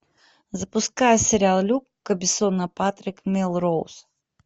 запускай сериал люка бессона патрик мелроуз